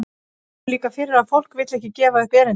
Það kemur líka fyrir að fólk vill ekki gefa upp erindið.